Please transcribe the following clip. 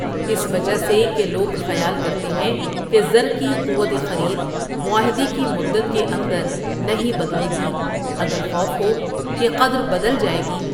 اس وجہ سے کہ لوگ خیال کرتے ہیں کہ زر کی قوت خرید معاہدے کی مدت کے اندر نہیں بدلے گی اگر خوف ہو کہ قدر بدل جائے گی۔